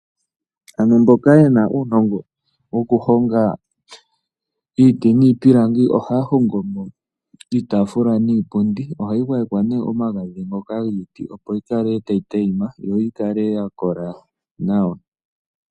Aantu mboka yena uunogo woku hoga iiti niipilangi oha hongo mo iitafula niipundi. Ohayi gwayekwa nee omagadhi ngoka giiti opo yi kale tayi tayima. Yo yikale yakola nawa.